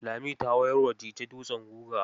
Lami ta mayar wa Dije dutsen guga.